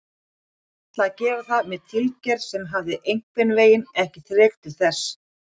Ég hafði ætlað að gera það með tilgerð en hafði einhvernveginn ekki þrek til þess.